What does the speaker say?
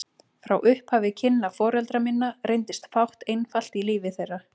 Frá upphafi kynna foreldra minna reyndist fátt einfalt í lífi þeirra.